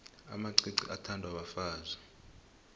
amacici athandwa bafazi